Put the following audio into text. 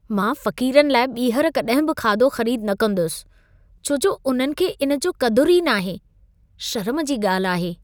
मां फ़क़ीरनि लाइ ॿीहर कॾहिं बि खाधो ख़रीद न कंदुसि, छो जो उन्हनि खे इन जी क़दुरु ई नाहे। शरम जी ॻाल्हि आहे।